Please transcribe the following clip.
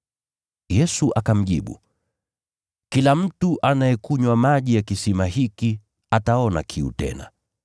Yesu akamjibu, “Kila mtu anayekunywa maji ya kisima hiki ataona kiu tena.